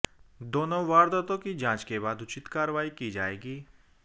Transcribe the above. दोनों वारदातों की जांच के बाद उचित कार्रवाई की जाएगी